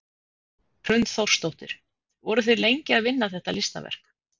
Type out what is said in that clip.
Hrund Þórsdóttir: Voruð þið lengi að vinna þetta listaverk?